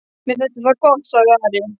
Mér þætti það gott, sagði Ari.